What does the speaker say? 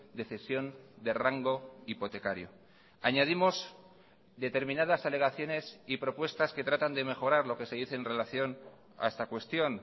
de cesión de rango hipotecario añadimos determinadas alegaciones y propuestas que tratan de mejorar lo que se dice en relación a esta cuestión